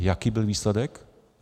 A jaký byl výsledek?